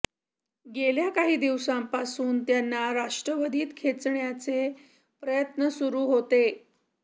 गेल्या काही दिवसांपासून त्यांना राष्ट्रवादीत खेचण्याचे प्रयत्न सुरु होते